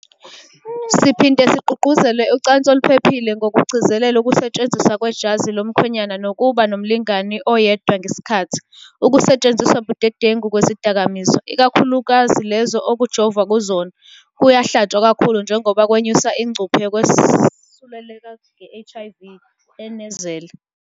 "Siphinde sigqugquzele ucansi oluphephile ngokugcizelela ukusetshenziswa kwejazi lomkhwenyana nokuba nomlingani oyedwa ngesikhathi. Ukusetshenziswa budedengu kwezidakamizwa - ikakhulukazi lezo okujovwa kuzona - kuyahlatshwa kakhulu njengoba kwenyusa ingcuphe yokwesuleleka nge-HIV," enezela.